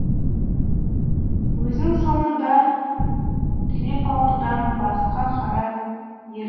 өзінің соңында тілепалдыдан басқа қара ер